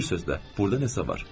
Bir sözlə, burda nəsə var.